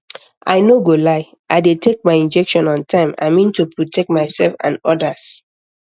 i no go lie i dey take my injection on time i mean to protect myself and others